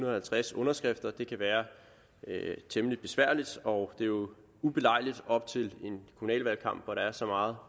og halvtreds underskrifter det kan være temmelig besværligt og det er jo ubelejligt op til en kommunal valgkamp hvor der er så meget